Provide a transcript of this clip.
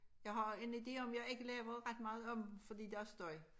Jeg har en ide om jeg ikke laver ret meget om fordi der er støj